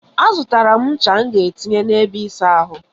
A zụtara m ncha m ga etinye na ebe ịsa ahụ.